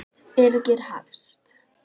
Birgir Hafst.